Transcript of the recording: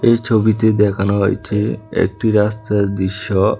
এই ছবিতে দেখানো হয়েছে একটি রাস্তার দৃশ্য।